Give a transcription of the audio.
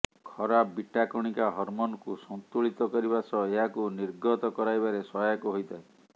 ଖରାପ ବିଟା କଣିକା ହରମୋନକୁ ସନ୍ତୁଳିତ କରିବା ସହ ଏହାକୁ ନିର୍ଗତ କରାଇବାରେ ସହାୟକ ହୋଇଥାଏ